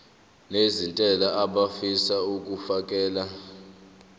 nezentela abafisa uukfakela